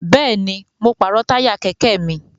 Bẹ́ẹ̀ni, mo pàrọ̀ táyà kẹ̀kẹ́ mi